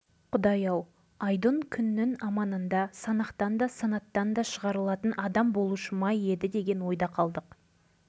сондықтан балаларыңызды осында қалдырыңдар болмаса мүгедектер үйіне өткізіңдер деді де бөлмеден шығуымызды өтінді